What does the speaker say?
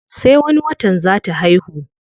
Sai wani watan zaa ta haihu.